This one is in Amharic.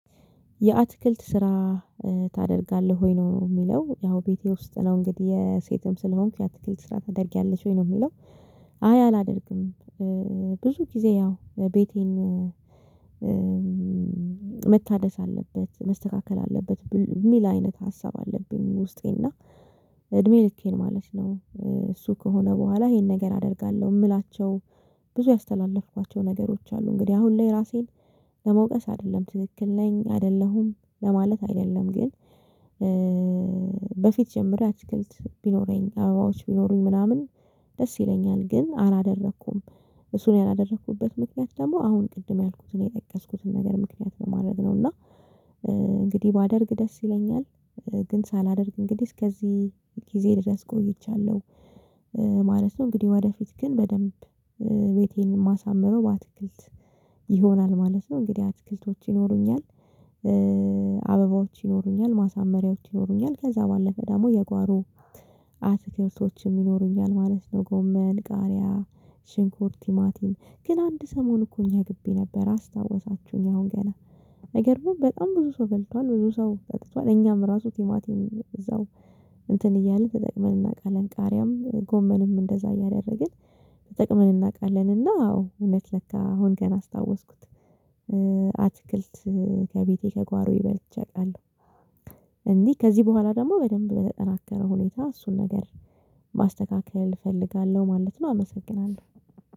የአትክልት ስራ ታደርጋለህ ወይ ነው የሚለው ያው ቤቴ ውስጥ ነው እንግዲህ የሴትም ስለሆንኩ የአትክልት ስራ ታደርጊያለች ወይ ነው የሚለው? አይ አላደርግም። ብዙ ጊዜ ያው ቤቴን መታደስ አለበት መስተካከል አለበት የሚል አይነት ሀሳብ አለብኝ ውስጤ እና። እድሜ ልኬን ማለት ነው እሱ ከሆነ በኋላ ይሄን ነገር አደርጋለሁ የምላቸው። ብዙ ያስተላለፍኳቸው ነገሮች አሉ እንግዲህ አሁን ላይ ራሴን ለመውቀስ አይደለም ትክክል ነኝ አይደለሁም ለማለት አይደለም ግን። በፊት ጀምሬ አትክልት ቢኖረኝ አበባዎች ቢኖሩኝ ምናምን ደስ ይለኛል። ግን አላደረኩም። እሱን ያላደረኩበት ምክንያት ደግሞ አሁን ቅድም ያልኩትን የጠቀስኩትን ነገር ምክንያት በማድረግ ነው እና። እንግዲህ ባደርግ ደስ ይለኛል። ግን ሳላደርግ እንግዲህ እስከዚህ ጊዜ ድረስ ቆይቻለሁ። ማለት ነው እንግዲህ ወደፊት ግን በደንብ ቤቴን ማሳምረው በአትክልት ይሆናል ማለት ነው። እንግዲህ አትክልቶች ይኖሩኛል። አበባዎች ይኖሩኛል ማሳመሪያዎች ይኖሩኛል ከዛ ባለፈ ደግሞ የጓሮ አትክልቶችም ይኖሩኛል ማለት ነው። ጎመን ቃሪያ ሽንኩርት ቲማቲም ግን አንድ ሰሞን እኮ እኛ ግቢ ነበር አስታወሳችሁኝ አሁን ገና አይገርምም። በጣም ብዙ ሰው በልቷል ብዙ ሰው በልቷል እኛም ራሱ ቲማቲም እዛው እንትን እያልን ተጠቅመን እናውቃለን። ቃሪያም ጎመንም እንደዛ እያደረግን ተጠቅመን እናውቃለን። እና አዎ እውነት ለካ አሁን ገና አስታወስኩት። አትክልት ከቤቴ ከጓሮዬ በልቼ አውቃለሁ። እንዲህ ከዚህ በኋላ ደግሞ በደንብ በተጠናከረ ሁኔታ እሱን ነገር ማስተካከል እፈልጋለሁ ማለት ነው። አመሰግናለሁ